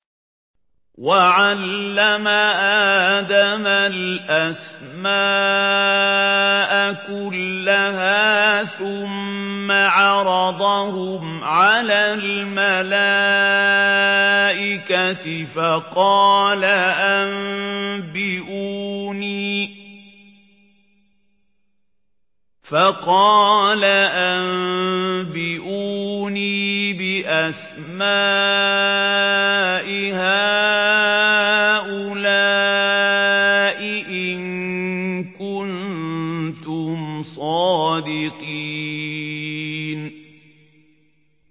وَعَلَّمَ آدَمَ الْأَسْمَاءَ كُلَّهَا ثُمَّ عَرَضَهُمْ عَلَى الْمَلَائِكَةِ فَقَالَ أَنبِئُونِي بِأَسْمَاءِ هَٰؤُلَاءِ إِن كُنتُمْ صَادِقِينَ